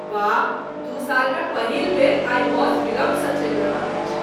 वाह, दू सालमे पहिल बेर आइ बस विलम्बसँ चलि रहल अछि।